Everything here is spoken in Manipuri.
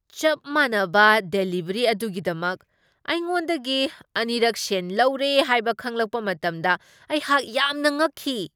ꯆꯞ ꯃꯥꯟꯅꯕ ꯗꯦꯂꯤꯕꯔꯤ ꯑꯗꯨꯒꯤꯗꯃꯛ ꯑꯩꯉꯣꯟꯗꯒꯤ ꯑꯅꯤꯔꯛ ꯁꯦꯟ ꯂꯧꯔꯦ ꯍꯥꯏꯕ ꯈꯪꯂꯛꯄ ꯃꯇꯝꯗ ꯑꯩꯍꯥꯛ ꯌꯥꯝꯅ ꯉꯛꯈꯤ ꯫